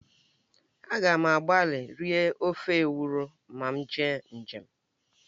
A ga m agbali rie ofe ewuro ma m jee njem